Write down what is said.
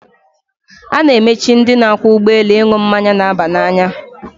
A na-amachi ndị na-akwọ ụgbọelu ịṅụ mmanya na-aba n'anya.